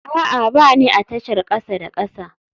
A'a, ba ni a tashar kasa da kasa